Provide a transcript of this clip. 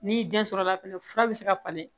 N'i den sɔrɔla fɛnɛ fura be se ka falen